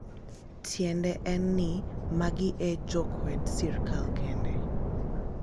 tiende en ni magi e jo kwed sirikal kende